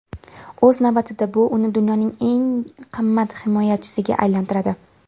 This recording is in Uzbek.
O‘z navbatida bu uni dunyoning eng qimmat himoyachisiga aylantiradi.